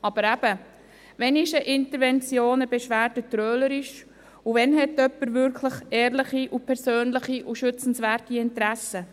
Aber eben, wann ist eine Intervention, eine Beschwerde trölerisch, und wann hat jemand wirklich ehrliche und persönliche und schützenswerte Interessen?